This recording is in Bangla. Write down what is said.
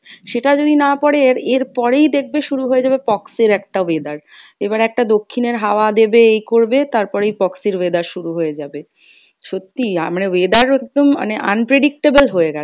সেটা যদি না পরে এর এরপরেই দেখবে শুরু হয়ে যাবে pox এর একটা weather, এবার একটা দক্ষিণের হাওয়া দেবে এই করবে তারপরেই pox এর weather শুরু হয়ে যাবে। সত্যি আমরা weather একদম মানে unpredictable হয়ে গেছে,